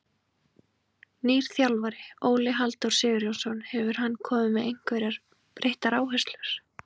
Nýr þjálfari, Óli Halldór Sigurjónsson, hefur hann komið með einhverjar breyttar áherslur?